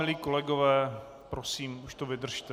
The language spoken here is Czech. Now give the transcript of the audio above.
Milí kolegové, prosím, už to vydržte.